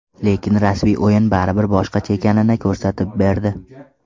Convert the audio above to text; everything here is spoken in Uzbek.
Lekin rasmiy o‘yin baribir boshqacha ekanini ko‘rsatib berdi.